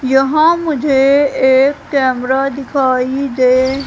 यहा मुझे एक कैमरा दिखाई दे--